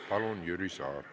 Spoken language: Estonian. Palun, Jüri Saar!